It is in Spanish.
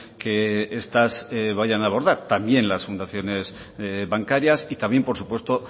que estas vayan a abordar también las fundaciones bancarias y también por supuesto